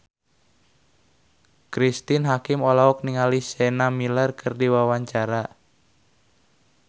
Cristine Hakim olohok ningali Sienna Miller keur diwawancara